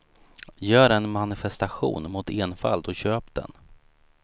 Gör en manifestation mot enfald och köp den.